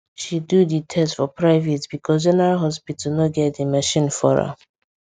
she do the test for private because general hospital no get the machine for am